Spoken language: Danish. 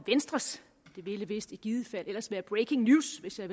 ville vist i givet fald ellers være breaking news hvis jeg